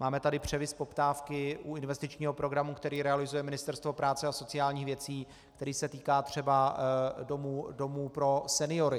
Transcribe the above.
Máme tady převis poptávky u investičního programu, který realizuje Ministerstvo práce a sociálních věcí, který se týká třeba domů pro seniory.